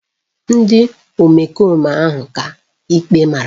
Ndị omekome ahụ ka ikpe mara